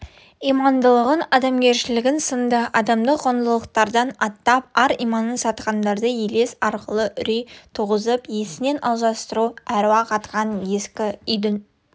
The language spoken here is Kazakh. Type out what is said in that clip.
имандылық адамгершілік сынды адамдық құндылықтардан аттап ар-иманын сатқандарды елес арқылы үрей туғызып есінен алжастыру аруақ атқан ескі үйдің